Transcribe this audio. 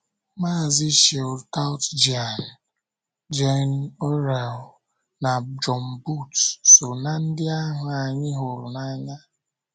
Maazi Shield Toutjian, Gene Orrell, na John Booth so ná ndị ahụ anyị hụrụ n’anya.